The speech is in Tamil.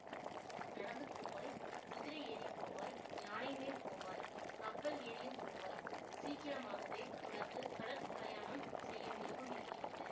நடந்து போவாய் குதிரை ஏறி போவாய் யானை மேல் போவாய் கப்பல் ஏறியும் போவாய் சீக்கிரமாகவே உனக்கு கடற் பிரயாணம் செய்யும் யோகம் இருக்கிறது